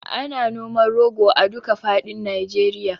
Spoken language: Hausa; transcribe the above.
Ana noman rogo a duka faɗin Nijeriya